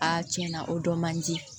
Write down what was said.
tiɲɛ na o dɔ man di